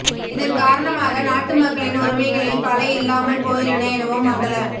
இதன் காரணமாக நாட்டு மக்களின் உரிமைகளில் பல இல்லாமல் போயுள்ளன எனவும் மங்கள